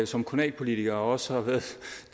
som kommunalpolitiker og også